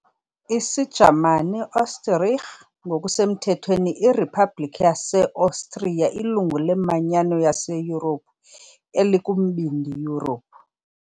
isiJamani, Österreich, ngokusemthethweni iRiphabhlikhi yaseOstriya ilungu leManyano yaseYurophu, elikuMbindi Yurophu.